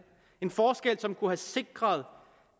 en forskel som kunne have sikret